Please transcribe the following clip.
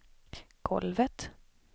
golvet